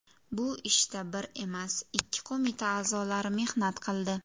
Bu ishda bir emas, ikki qo‘mita a’zolari mehnat qildi.